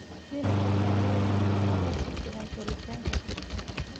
Spinach waxay leedahay nafaqo ku filan koritaanka jidhka.